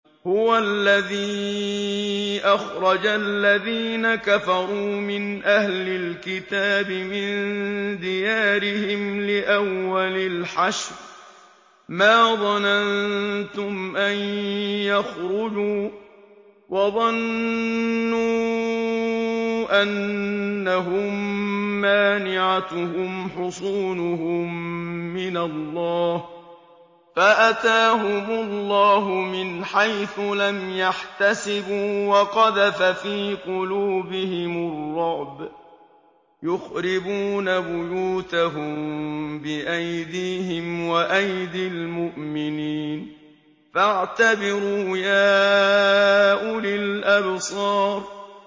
هُوَ الَّذِي أَخْرَجَ الَّذِينَ كَفَرُوا مِنْ أَهْلِ الْكِتَابِ مِن دِيَارِهِمْ لِأَوَّلِ الْحَشْرِ ۚ مَا ظَنَنتُمْ أَن يَخْرُجُوا ۖ وَظَنُّوا أَنَّهُم مَّانِعَتُهُمْ حُصُونُهُم مِّنَ اللَّهِ فَأَتَاهُمُ اللَّهُ مِنْ حَيْثُ لَمْ يَحْتَسِبُوا ۖ وَقَذَفَ فِي قُلُوبِهِمُ الرُّعْبَ ۚ يُخْرِبُونَ بُيُوتَهُم بِأَيْدِيهِمْ وَأَيْدِي الْمُؤْمِنِينَ فَاعْتَبِرُوا يَا أُولِي الْأَبْصَارِ